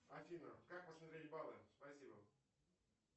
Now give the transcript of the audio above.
афина как посмотреть баллы спасибо